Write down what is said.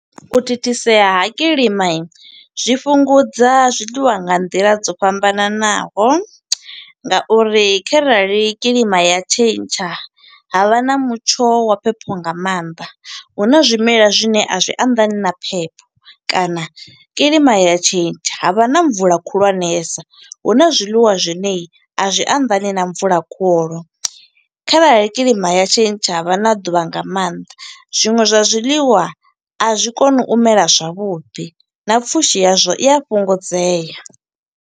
U thithisea ha kiḽima, zwi fhungudza zwiḽiwa nga nḓila dzo fhambananaho nga uri, kharali kiḽima ya tshentsha. ha vha na mutsho wa phepho nga maanḓa. Huna zwimela zwine a zwi anḓani na phepho, kana kiḽima ya tshentsha ha vha na mvula khulwanesa. Huna zwiḽiwa zwine a zwi anḓani na mvula khulu. Kharali kiḽima ya tshentsha ha vha na ḓuvha nga maanḓa, zwiṅwe zwa zwiḽiwa a zwi koni u mela zwavhuḓi, na pfushi yazwo i a fhungudzea.